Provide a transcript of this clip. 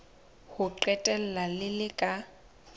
ho qetela le le ka